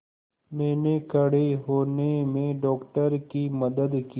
मैंने खड़े होने में डॉक्टर की मदद की